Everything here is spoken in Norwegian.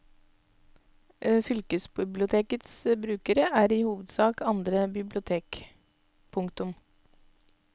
Fylkesbibliotekets brukere er i hovedsak andre bibliotek. punktum